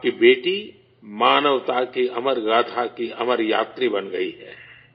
آپ کی بیٹی انسانیت کی لازوال کہانی کی لازوال مسافر بن گئی ہے